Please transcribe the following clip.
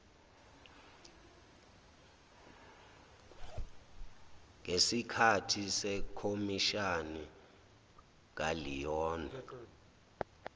ngesikahthi sekhomishani kaleon